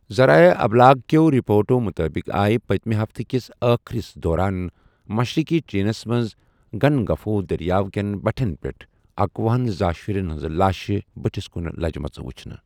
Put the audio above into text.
زرایعہ اِبلاغ كیو رپوٹو مٗتٲبِق آیہ پتِمہِ ہفتہ كِس ٲخرس دوران ، مشرقی چینس منز گنگفوٗ دریاو كین بٹھین پیٹھ ، اکوٗہنَ زا شٗرین ہنزٕ لاشہِ بٹھس كٗن لجِمٕژٕ وٗچھنہٕ ۔